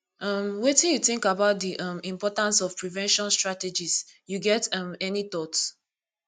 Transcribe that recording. um wetin you think about di um importance of prevention strategies you get um any thought